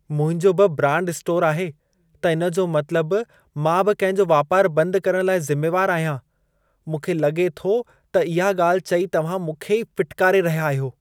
मुंहिंजो बि brand store आहे, त इन जो मतलब मां बि कंहिं जो वापार बंद करण लाइ ज़िमेवार आहियां। मूंखे लॻे थो त इहा ॻाल्ह चई तव्हां मूंखे ई फिटिकारे रहिया आहियो।